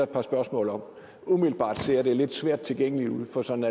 par spørgsmål om umiddelbart ser det lidt svært tilgængeligt ud for sådan